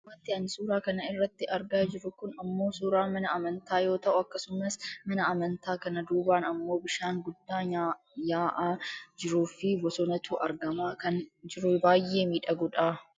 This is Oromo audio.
wantin an suuraa kana irratti argaa jiru kun ammoo suuraa mana amantaa yoo ta'u akkasumas mana amantaa kana duubaan ammoo bishaan guddaa nyaa'aa jiruufi bosonatu argamaa kan jiruu baayyee miidhagudha.